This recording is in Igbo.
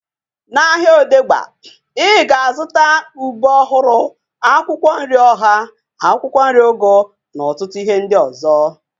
Na ahịa Odegbe, ị ga-azụta ube ọhụrụ, akwụkwọ nri ọha, akwụkwọ nri ugu na ọtụtụ ihe ndị ọzọ